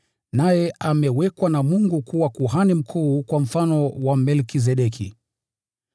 Naye amewekwa na Mungu kuwa Kuhani Mkuu kwa mfano wa Melkizedeki.